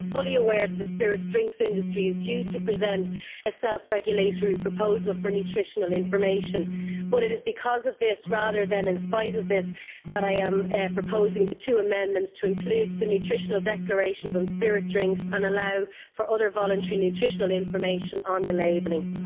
I am fully aware that the spirits drinks industry is due to present a self-regulatory proposal for nutritional information, but it is because of this, rather than in spite of this, that I am proposing the two amendments to include the nutritional declarations on spirit drinks and allow for other voluntary nutritional information on the labelling.